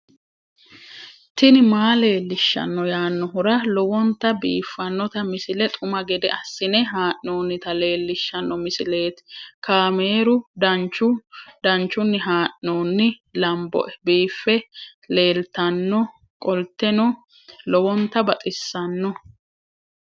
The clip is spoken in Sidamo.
tini maa leelishshanno yaannohura lowonta biiffanota misile xuma gede assine haa'noonnita leellishshanno misileeti kaameru danchunni haa'noonni lamboe biiffe leeeltannoqolten lowonta baxissannoe